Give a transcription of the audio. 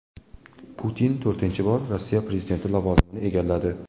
Putin to‘rtinchi bor Rossiya prezidenti lavozimini egalladi .